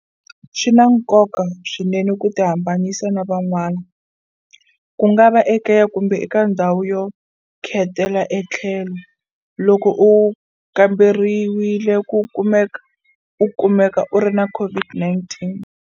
SWI NA NKOKA swinene ku tihambanyisa na van'wana, kungava ekaya kumbe eka ndhawu yo khetela etlhelo, loko u kamberiwile u kumeka u ri na COVID-19.